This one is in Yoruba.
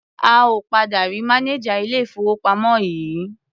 A ò padà rí mánejà ilé-ìfowópamọ́ yìí.